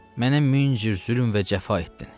Mənə min cür zülm və cəfa etdin.